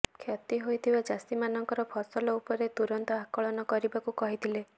କ୍ଷତି ହୋଇଥିବା ଚାଷୀ ମାନଙ୍କର ଫସଲ ଉପରେ ତୁରନ୍ତ ଆକଳନ କରିବାକୁ କହିଥିଲେ